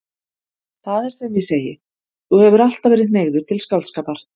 Það er sem ég segi: Þú hefur alltaf verið hneigður til skáldskapar.